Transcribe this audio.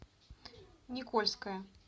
никольское